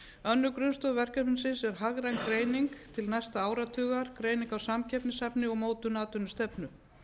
önnur grunnstoð verkefnisins er hagræn greining til næsta áratugar greining á samkeppnishæfni og mótun atvinnustefnu